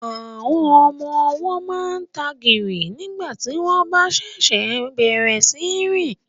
Àwọn ọmọ ọwọ́ máa ń tagìrì nígbà tí wọ́n ṣẹ̀ṣẹ̀ bẹ̀rẹ̀ sí í rìn